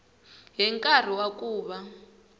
hi nkarhi wa ku va